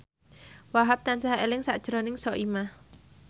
Wahhab tansah eling sakjroning Soimah